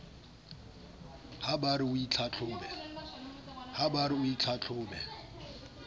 ha ba re o itlhatlhobe